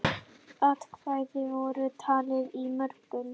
Atkvæði voru talin í morgun.